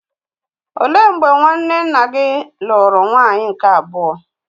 Ó lee mgbe nwanne nna gị lụrụ nwaanyị nke abụọ?